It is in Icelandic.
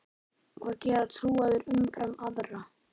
Hvað gera trúaðir umfram aðra?